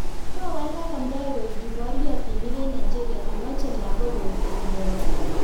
Kowalak amdaik koek kiporyotinik eng Nigeria komache logok koek amdaik